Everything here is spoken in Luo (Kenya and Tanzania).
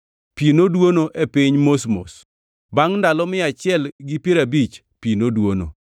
Pi noduono e piny mos mos. Bangʼ ndalo mia achiel gi piero abich pi noduono,